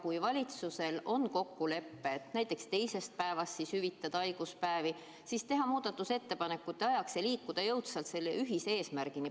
Kui valitsusel on kokkulepe, et teisest päevast alates võiks hüvitada haiguspäevi, siis saaks muudatusettepanekute abil jõudsalt ühise eesmärgini jõuda.